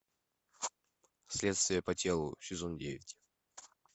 следствие по телу сезон девять